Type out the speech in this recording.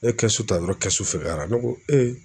Ne kɛsu ta dɔrɔn kɛsu fɛgɛyara ne ko